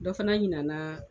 Dɔ fana ɲinana